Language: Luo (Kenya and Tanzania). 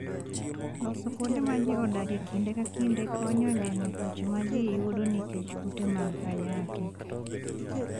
Loso kuonde ma ji odakie kinde ka kinde, konyo e geng'o tuoche ma ji yudo nikech kute mag ayaki.